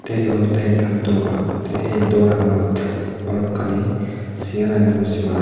te iyot olodey ekkan dogan te ey dogananot balokkani segar agey bojobaar.